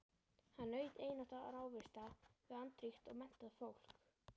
Hann naut einatt návista við andríkt og menntað fólk.